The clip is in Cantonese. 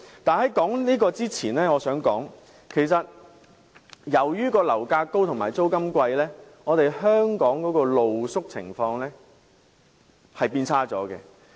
但在討論這句話前，我想提出的是由於樓價高企和租金高昂，香港的露宿情況已變得更差。